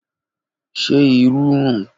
Ṣe iru run?